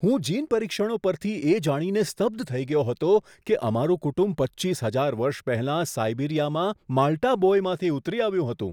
હું જીન પરીક્ષણો પરથી એ જાણીને સ્તબ્ધ થઈ ગયો હતો કે અમારું કુટુંબ પચ્ચીસ હજાર વર્ષ પહેલાં સાઈબિરીયામાં માલ્ટા બોયમાંથી ઉતરી આવ્યું હતું.